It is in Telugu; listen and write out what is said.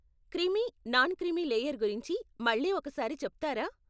క్రీమీ, నాన్ క్రీమీ లేయర్ గురించి మళ్ళీ ఒక సారి చెప్తారా?